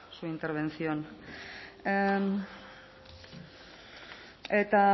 su intervención eta